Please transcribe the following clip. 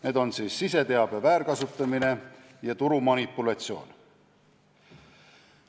Need on siseteabe väärkasutamine ja turumanipulatsioon.